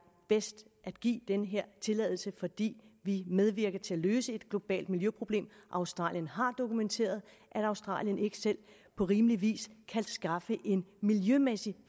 bedst at give den her tilladelse fordi vi medvirker til at løse et globalt miljøproblem australien har dokumenteret at australien ikke selv på rimelig vis kan skaffe en miljømæssigt